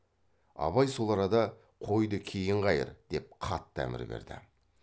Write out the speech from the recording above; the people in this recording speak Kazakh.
абай сол арада қойды кейін қайыр деп қатты әмір берді